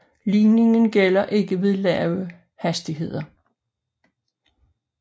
Ligningen gælder ikke ved lave hastigheder